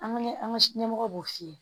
An bɛ an ka ɲɛmɔgɔw b'o f'i ye